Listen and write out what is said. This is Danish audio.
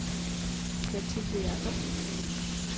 Mathilde Jacobsen